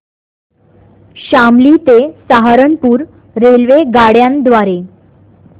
शामली ते सहारनपुर रेल्वेगाड्यां द्वारे